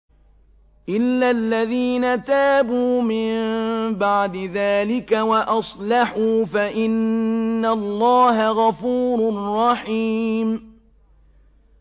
إِلَّا الَّذِينَ تَابُوا مِن بَعْدِ ذَٰلِكَ وَأَصْلَحُوا فَإِنَّ اللَّهَ غَفُورٌ رَّحِيمٌ